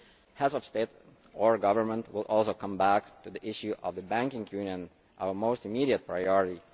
Heads of State or Government will also come back to the issue of the banking union, our most immediate priority.